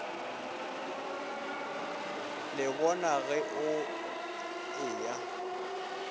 le bona ge o eya